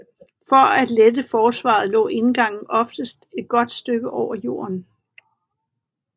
For at lette forsvaret lå indgangen oftest et godt stykke over jorden